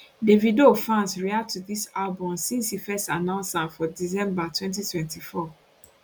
davido fans react to dis album since e first announce am for december 2024